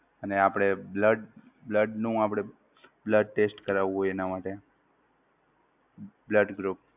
અને આપણે blood blood નું આપણે blood test કરાવુ હોય એનાં માટે? blood group